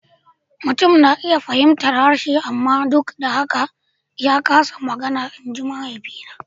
Mutum na iya fahimtar harshe amma duk da haka ya kasa magana, in ji mahaifina.